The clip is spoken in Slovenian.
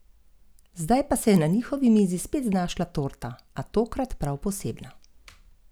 Podobno je menil tudi predstavnik glasbenikov Boštjan Dermol, ki je menil, da je direktiva dokaz, da se nameravajo stvari urediti.